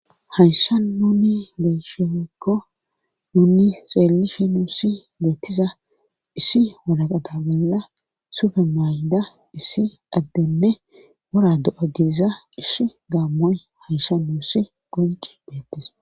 haysan nuni geshekko nuni xeellishi nuusi beettiza issi walaqata bolla sufe maayida issi addenne wora do7a giza ishi gaammoy haysha nuussi gonci beettis